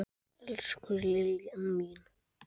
Elsku Liljan mín.